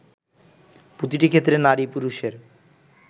প্রতিটি ক্ষেত্রে নারী পুরুষের